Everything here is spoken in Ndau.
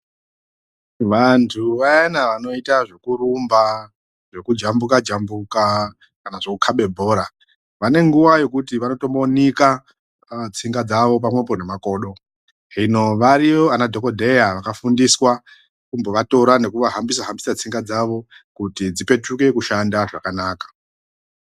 Vantu vayana vanoita zvekurumba, zvekujambuka jambuka kana zvekukabe bhora, vane nguva yekuti vanotombonika tsinga dzawo pamwepo nemakodo. Zvino variyo anadhokodheya vakafundiswa kumbovatora nekuvahambisa hambisa tsinga dzavo kuti dzipetuke kushanda zvakanaka.